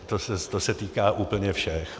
To se týká úplně všech.